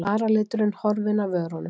Varaliturinn horfinn af vörunum.